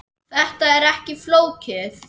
Þetta er ekki flókið